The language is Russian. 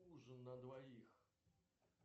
ужин на двоих